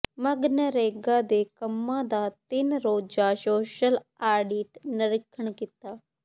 ਮਗਨਰੇਗਾ ਦੇ ਕੰਮਾ ਦਾ ਤਿੰਨ ਰੋਜਾ ਸੋਸ਼ਲ ਆਡਿਟ ਨਰੀਖਣ ਕੀਤਾ